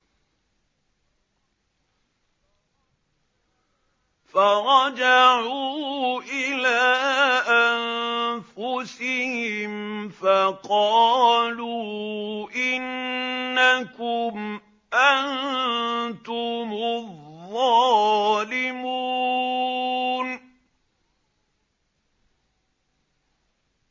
فَرَجَعُوا إِلَىٰ أَنفُسِهِمْ فَقَالُوا إِنَّكُمْ أَنتُمُ الظَّالِمُونَ